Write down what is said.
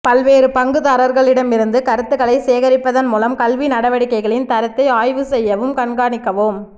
பல்வேறு பங்குதாரர்களிடமிருந்து கருத்துக்களை சேகரிப்பதன் மூலம் கல்வி நடவடிக்கைகளின் தரத்தை ஆய்வு செய்யவும் கண்காணிக்கவும்